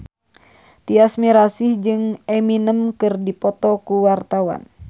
Tyas Mirasih jeung Eminem keur dipoto ku wartawan